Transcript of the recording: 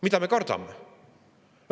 Mida me kardame?